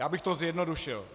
Já bych to zjednodušil.